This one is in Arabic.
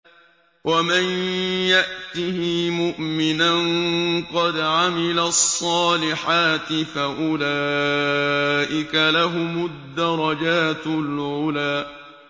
وَمَن يَأْتِهِ مُؤْمِنًا قَدْ عَمِلَ الصَّالِحَاتِ فَأُولَٰئِكَ لَهُمُ الدَّرَجَاتُ الْعُلَىٰ